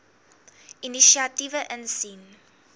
inisiatiewe insien